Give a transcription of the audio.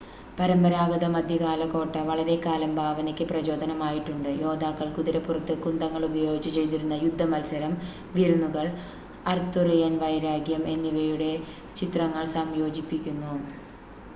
പരമ്പരാഗത മധ്യകാല കോട്ട വളരെക്കാലം ഭാവനയ്ക്ക് പ്രചോദനമായിട്ടുണ്ട് യോദ്ധാക്കള്‍ കുതിരപ്പുറത്ത് കുന്തങ്ങള്‍ ഉപയോഗിച്ച് ചെയ്തിരുന്ന യുദ്ധമത്സരം വിരുന്നുകൾ അർത്തുറിയൻ വൈരാഗ്യം എന്നിവയുടെ ചിത്രങ്ങൾ സംയോജിപ്പിക്കുന്നു